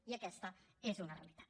i aquesta és una realitat